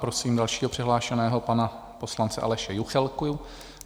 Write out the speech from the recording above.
Prosím dalšího přihlášeného, pana poslance Aleše Juchelku.